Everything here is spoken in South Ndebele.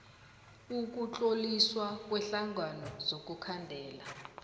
ukutloliswa kweenhlangano zokukhandela